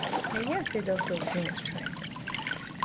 i hear say doctors dey on strike